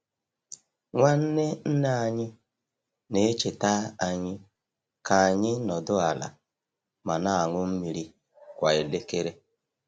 Nwanne nne anyị na-echeta anyị ka anyị nọdụ ala ma na-aṅụ mmiri kwa elekere.